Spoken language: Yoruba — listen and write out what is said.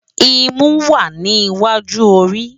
Imú wá ni iwájú óri